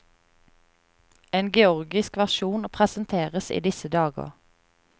En georgisk versjon presenteres i disse dager.